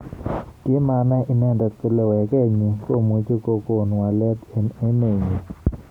Kimanai inendet kole weket nyi komuch kokon walet eng emet nyi.